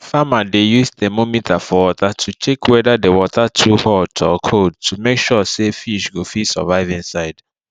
farmer dey use thermometer for water to check wether the water too hot or cold to make sure say fish go fit survive inside